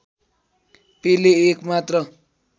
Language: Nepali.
पेले एक मात्र